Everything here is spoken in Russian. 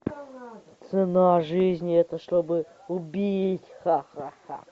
цена жизни это чтобы убить ха ха ха